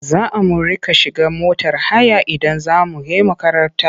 Za a mu riƙa shiga motar haya idan za mu he makaranta.